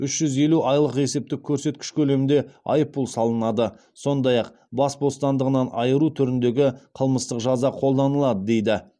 үш жүз елу айлық есептік көрсеткіш көлемінде айыппұл салынады сондай ақ бас бостандығынан айыру түріндегі қылмыстық жаза қолданылады дейді